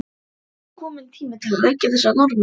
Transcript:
Og er ekki kominn tími til að leggja þessa Norðmenn?